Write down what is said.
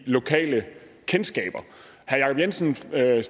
lokale kendskaber herre jacob jensen stillede